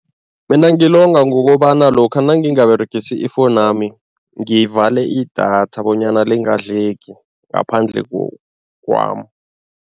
Mina ngilonga ngokobana lokha nangingaberegisi ifowuni yami, ngivale idatha bonyana lingadleki ngaphandle kwami.